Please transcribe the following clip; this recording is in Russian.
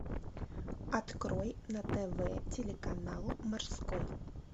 открой на тв телеканал морской